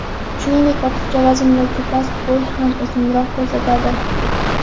Shuningdek, ortiqcha vazn yoki past bo‘yni ham uzunroq ko‘rsatadi.